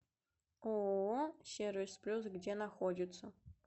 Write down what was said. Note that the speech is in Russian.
ооо сервис плюс где находится